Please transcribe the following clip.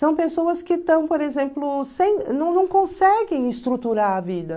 São pessoas que estão, por exemplo, sem... Não, não conseguem estruturar a vida.